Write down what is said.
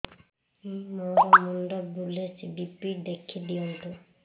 ମୋର ମୁଣ୍ଡ ବୁଲେଛି ବି.ପି ଦେଖି ଦିଅନ୍ତୁ